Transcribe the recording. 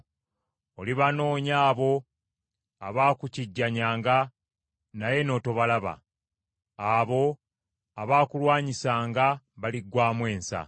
Olibanoonya abo abaakukijjanyanga naye n’otobalaba. Abo abaakulwanyisanga baliggwaamu ensa.